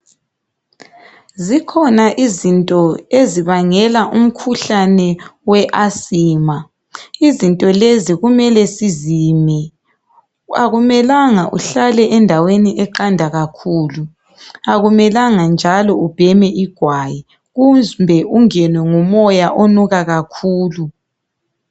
Zikhona izinto ezibangela umkhuhlane we asima. Izinto lezi kumele sizime. Akumelanga uhlale endaweni eqanda kakhulu. Akumelanga njalo ubheme igwayi. Kumbe ungenwe ngumoya onuka kakhulu.